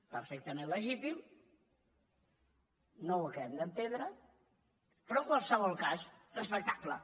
perfectament legítim no ho acabem d’entendre però en qualsevol cas respectable